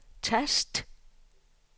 tast